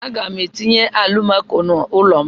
A ga m etinye alụmako n'ulo m.